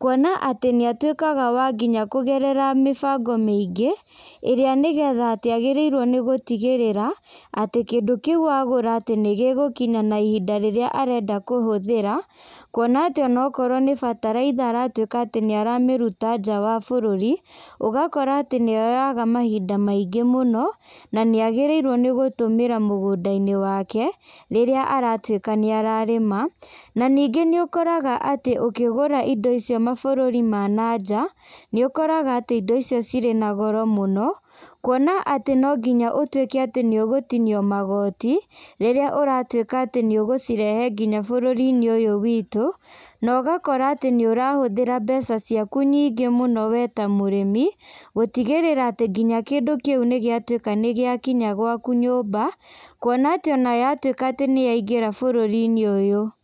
kuona atĩ nĩ atuĩkaga wa nginya kũgerera mĩbango mĩingĩ, ĩrĩa nĩ getha atĩ agĩrĩrwo nĩ gũtigĩrĩra, atĩ kĩndũ kĩu agũra atĩ nĩ gĩgũkinya na ihinda rĩrĩa arenda kũhũthĩra, kuona atĩ onokorwo nĩ bataraitha aratuĩka atĩ nĩ aramĩruta nja wa bũrũri, ũgakora atĩ nĩyoyaga mahinda maingĩ mũno, na nĩ agĩrĩirwo nĩ gũtũmĩra mũgũnda-inĩ wake, rĩrĩa aratuĩka nĩ ararĩma, na ningĩ nĩ ũkoraga atĩ ũkĩgũra indo icio mabũrũri ma na nja, nĩ ũkoraga atĩ indo icio cirĩ na goro mũno, kuona atĩ no nginya ũtuĩke atĩ nĩ ũgũtinio magoti, rĩrĩa ũratuĩka atĩ nĩ ũgũcirehe nginya bũrũri-inĩ ũyũ witũ, na ũgakora atĩ nĩ ũrahũthĩra mbeca ciaku nyingĩ mũno we ta mũrĩmi, gũtigĩrĩra atĩ nginya kĩndũ kĩu nĩ gĩatuĩka nĩ gĩakiya gwaku nyũmba, kuona atĩ ona yatuĩka atĩ nĩ yaingĩra bũrũri-inĩ ũyũ.